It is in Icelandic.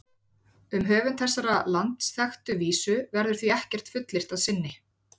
Um höfund þessarar landsþekktu vísu verður því ekkert fullyrt að sinni.